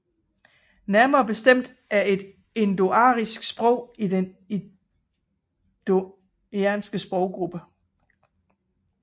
Nærmere bestemt er det et indoarisk sprog i den indoiranske sproggruppe